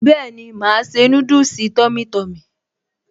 Bẹ́ẹ̀ni màá ṣe núdùsì tummy tummy